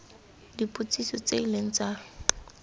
dipotsiso tse e leng tsa